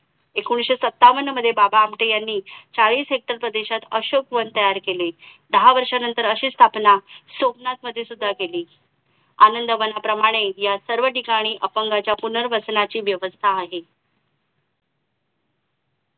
एकोणीशे सत्तावन्न मध्ये बाबा आमटे यांनी चाळीस हेक्टर प्रदेशात अशोकवन तयार केले दहा वर्षानंतर अशी स्थापना सोमनाथ मध्ये सुद्धा केली अंदावनाप्रमाणे या सर्व ठिकाणी अपंगाच्या पुनःर्वसनाची व्यवस्था आहे